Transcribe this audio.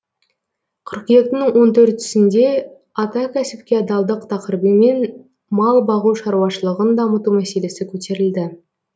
қыркүйектің он төртісінде ата кәсіпке адалдық тақырыбымен мал бағу шаруашылығын дамыту мәселесі көтерілді